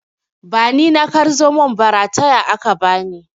Ba ni na kar zomon ba, rataya aka bani.